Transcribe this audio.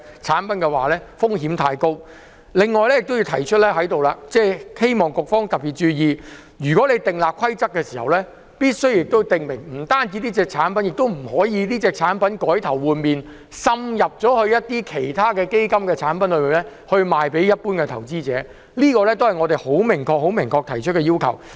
此外，我還想在這裏提出一點，希望局方特別注意，訂立規則時，除了訂明這產品不可以銷售給甚麼人士外，亦必須訂明不可以將這產品改頭換面，滲入其他基金產品售予一般投資者，這是我們明確提出的要求。